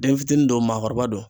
Den fitinin don o maakɔrɔba don